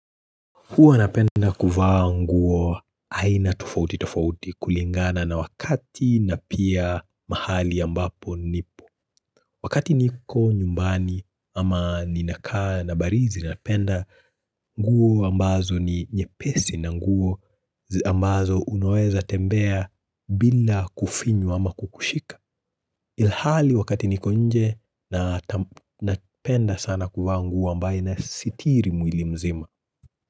Huwa napenda kuvaa nguo aina tofauti tofauti kulingana na wakati na pia mahali ambapo nipo. Wakati niko nyumbani ama ninakaa na barizi napenda nguo ambazo ni nyepesi na nguo ambazo unoweza tembea bila kufinyu ama kukushika. Ilhali wakati niko nje napenda sana kuvaa nguo ambayo inasitiri mwili mzima.